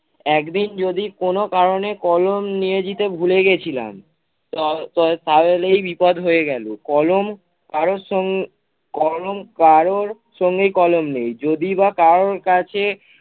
একদিন যদি কোন কারণে কলম নিয়ে যেতে ভুলে গেছিলাম। ত~ ত~ তারলেই বিপদ হয়ে গেলো কলম কারো সং~ কলম কারোর সঙ্গেই কলম নেই। যদি বা কারো কাছে